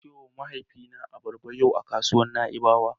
Na siyowa mahaifina abarba yau a kasuwar Na'ibawa.